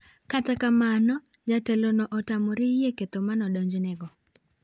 Kata kamano jatelono otamore yie ketho modonjnegono.